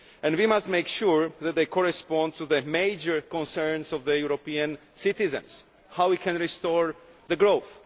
We must make sure that these correspond to the major concerns of the European citizens how we can restore growth